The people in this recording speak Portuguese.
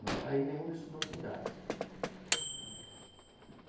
Não está em nenhum desses dois lugares.